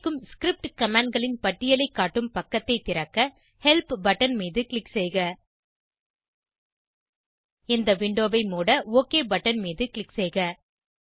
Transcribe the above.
கிடைக்கும் ஸ்கிரிப்ட் commandகளின் பட்டியலை காட்டும் பக்கத்தை திறக்க ஹெல்ப் பட்டன் மீது க்ளிக் செய்க இந்த விண்டோவை மூட ஒக் பட்டன் மீது க்ளிக் செய்க